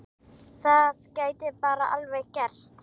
Það gæti bara alveg gerst!